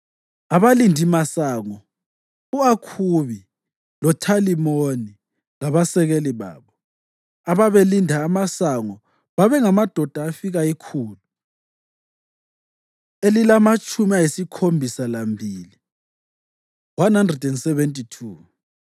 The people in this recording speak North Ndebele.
Abalindimasango: u-Akhubi, loThalimoni labasekeli babo, ababelinda amasango babengamadoda afika ikhulu elilamatshumi ayisikhombisa lambili (172).